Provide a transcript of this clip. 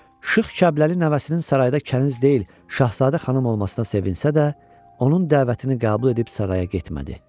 Şıx Kərbəlayı nəvəsinin sarayda kəniz deyil, şahzadə xanım olmasına sevinsə də, onun dəvətini qəbul edib saraya getmədi.